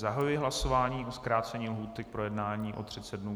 Zahajuji hlasování o zkrácení lhůty k projednání o 30 dnů.